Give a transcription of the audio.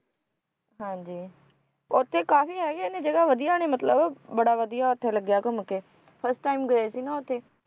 ਹਾਂਜੀ ਉੱਥੇ ਕਾਫੀ ਹੈਗੇ ਨੇ ਜਗ੍ਹਾ ਵਧੀਆ ਨੇ ਮਤਲਬ ਬੜਾ ਵਧੀਆ ਉੱਥੇ ਲੱਗਿਆ ਘੁੰਮ ਕੇ first time ਗਏ ਸੀ ਨਾ ਉੱਥੇ,